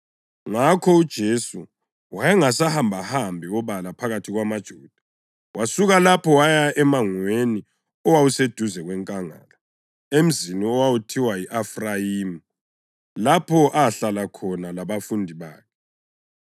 Ngakho uJesu wayengasahambahambi obala phakathi kwamaJuda. Wasuka lapho waya emangweni owawuseduze kwenkangala, emzini owawuthiwa yi-Efrayimu, lapho ahlala khona labafundi bakhe.